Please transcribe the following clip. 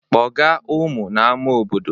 Kpọga ụmụ n'ama obodo!